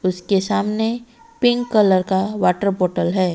उसके सामने pink colour का वॉटर बॉटल है।